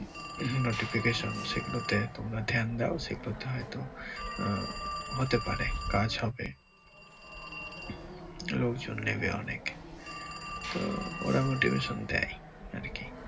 notification সেগুলোতে তোমরা ধ্যান দাও সেগুলোতে হয়তো আহ হতে পারে কাজ হবে লোকজন নিবে অনেক তো ওরা motivation দেয় আরকি।